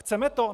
Chceme to?